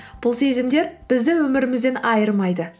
бұл сезімдер бізді өмірімізден айырмайды